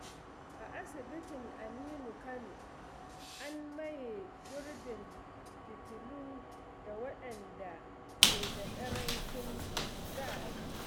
A asibitin Aminu Kano, an maye gurbin fitilu da waɗanda ke da ƙarancin kuzari.